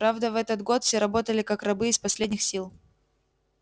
правда в этот год все работали как рабы из последних сил